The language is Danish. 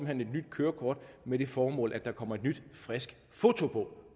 hen et nyt kørekort med det formål at der kommer et nyt friskt foto på